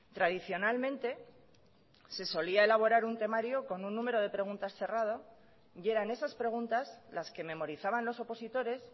tradicionalmente se solía elaborar un temario con un número de preguntas cerrado y eran esas preguntas las que memorizaban los opositores